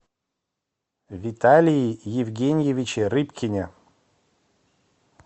виталии евгеньевиче рыбкине